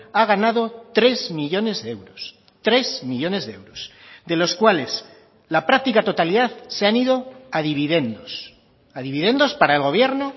ha ganado tres millónes de euros tres millónes de euros de los cuales la práctica totalidad se han ido a dividendos a dividendos para el gobierno